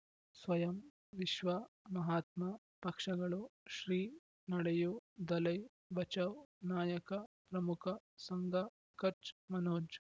ಸ್ವಯಂ ವಿಶ್ವ ಮಹಾತ್ಮ ಪಕ್ಷಗಳು ಶ್ರೀ ನಡೆಯೂ ದಲೈ ಬಚೌ ನಾಯಕ ಪ್ರಮುಖ ಸಂಘ ಕಚ್ ಮನೋಜ್